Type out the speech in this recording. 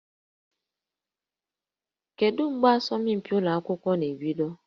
Kedu mgbe asọmpi ụlọ akwụkwọ na-ebido?